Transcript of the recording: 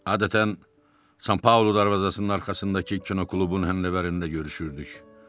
Adətən San Paolo darvazasının arxasındakı kinoklubun həndəvərində görüşürdük.